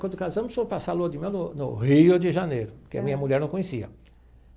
Quando casamos, fomos passar a lua de mel no no Rio de Janeiro, que a minha mulher não conhecia.